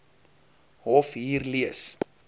hof hier lees